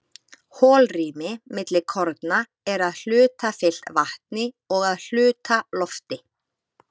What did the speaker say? holrými milli korna er að hluta fyllt vatni og að hluta lofti